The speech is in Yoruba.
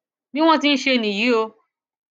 bí wọn ti ń ṣe nìyí o